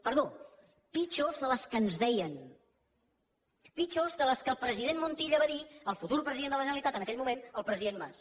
perdó pitjors que les que ens deien pitjors que les que el president montilla va dir al futur president de la generalitat en aquell moment al president mas